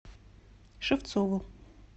шевцову